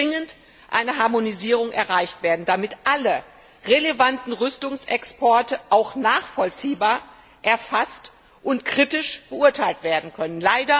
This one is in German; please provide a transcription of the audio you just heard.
Hier muss dringend eine Harmonisierung erreicht werden, damit alle relevanten Rüstungsexporte auch nachvollziehbar erfasst und kritisch beurteilt werden können.